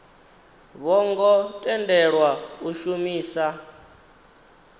vho ngo tendelwa u shumisa